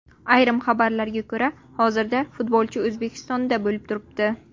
Ayrim xabarlarga ko‘ra, hozirda futbolchi O‘zbekistonda bo‘lib turibdi.